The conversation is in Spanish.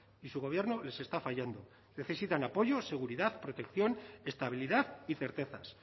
y su gobierno les está fallando necesitan apoyo seguridad protección estabilidad y certezas